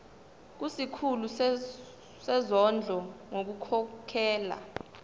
kusikhulu sezondlo ngokukhokhela